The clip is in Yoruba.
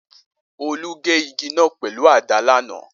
Olú gé igi náà pẹ̀lú àdá lánàá